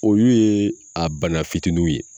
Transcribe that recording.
O yu ye a bana fitininw ye